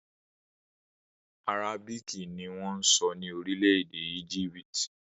Àrábíìkì ni wọ́n ń sọ ní orílẹ̀-èdè Égípítì